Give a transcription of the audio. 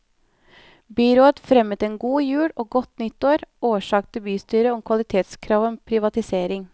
Byrådet fremmet en god jul og godt nytt årsak til bystyret om kvalitetskrav ved privatisering.